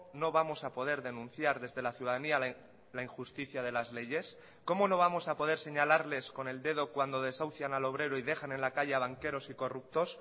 no vamos a poder denunciar desde la ciudadanía la injusticia de las leyes cómo no vamos a poder señalarles con el dedo cuando desahucian al obrero y dejan en la calle a banqueros y corruptos